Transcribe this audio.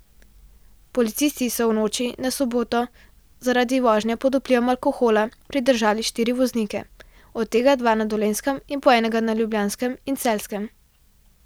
Policisti so v noči na soboto zaradi vožnje pod vplivom alkohola pridržali štiri voznike, od tega dva na Dolenjskem in po enega na Ljubljanskem in Celjskem.